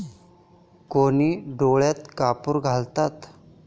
कोणी डोळ्यात कापूर घालतात.